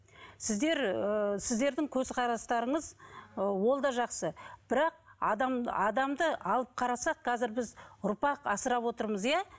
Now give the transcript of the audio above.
сіздер ыыы сіздердің көзқарастарыңыз ы ол да жақсы бірақ адамды алып қарасақ қазір біз ұрпақ асырап отырмыз иә